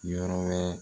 Yɔrɔ wɛrɛ